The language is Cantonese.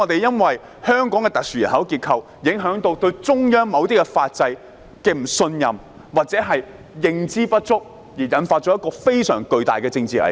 由於香港特殊的人口結構，市民對中央的某些法制不信任，或認知不足，導致非常巨大的政治危機。